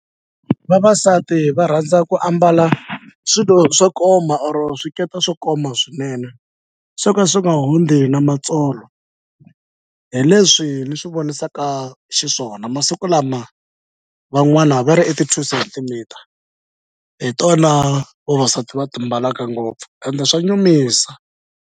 Vavasati va rhandza ku ambala swilo swo koma or swikete swo koma swinene swo ka swi nga hundzi na matsolo hi leswi ni swi vonisaka xiswona masiku lama van'wana va ri ti-two centimeter hi tona vavasati va ti mbalaka ngopfu ende swa nyumisa.